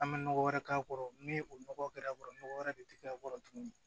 An bɛ nɔgɔ wɛrɛ k'a kɔrɔ ni o nɔgɔ kɛra a kɔrɔ nɔgɔ wɛrɛ de tɛ k'a kɔrɔ tuguni